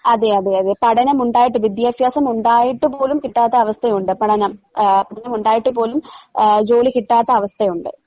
അതെയതെയതെ പഠനമുണ്ടായിട്ട് വിദ്യാഫ്യാസമുണ്ടായിട്ടുപോലും കിട്ടാത്ത അവസ്ഥയൊണ്ട് പഠനം ആഹ് പഠനം ഉണ്ടായിട്ടുപോലും ആഹ് ജോലി കിട്ടാത്ത അവസ്ഥയൊണ്ട്.